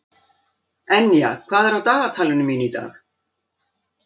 Enja, hvað er á dagatalinu mínu í dag?